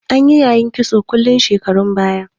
Anyi yayin kitson ƙulu shekarun baya.